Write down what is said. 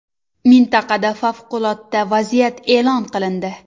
Mintaqada favqulodda vaziyat e’lon qilindi.